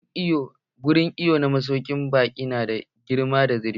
Wurin iwon na masaukin baƙin nada girma da zurfi.